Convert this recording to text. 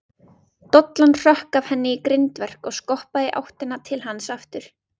Dollan hrökk af henni í grindverk og skoppaði í áttina til hans aftur.